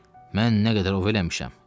Mən nə qədər ov eləmişəm.